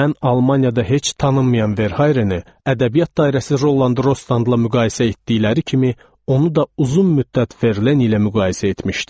Mən Almaniyada heç tanınmayan Verharini ədəbiyyat dairəsi Rollan Drostanla müqayisə etdikləri kimi onu da uzun müddət Ferlen ilə müqayisə etmişdim.